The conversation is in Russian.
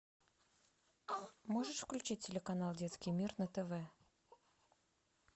можешь включить телеканал детский мир на тв